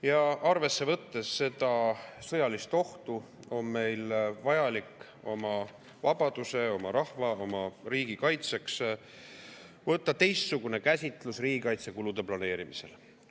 Ja arvesse võttes seda sõjalist ohtu, on meil vajalik oma vabaduse, oma rahva, oma riigi kaitseks võtta teistsugune käsitlus riigikaitsekulude planeerimisel.